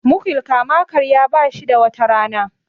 mukiln kama karya ba shi da wata Rana